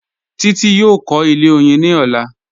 Títí yóò kọ̀ ilẹ̀ oyin ní ọ̀lá